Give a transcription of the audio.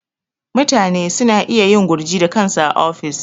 Mutane suna iya yin gurji da kansu a ofis.